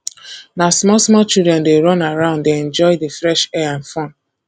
na small small children dey run around dey enjoy the fresh air and fun